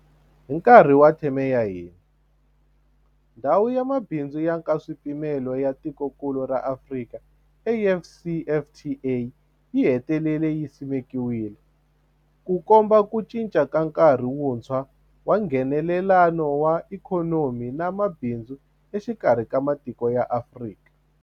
Hi nkarhi wa theme ya hina, Ndhawu ya Mabindzu ya Nkaswipimelo ya Tikokulu ra Afrika, AfCFTA yi hetelele yi simekiwile, Ku komba ku cinca ka nkarhi wuntshwa wa Nghenelelano wa ikhonomi na mabindzu exikarhi ka matiko ya Afrika.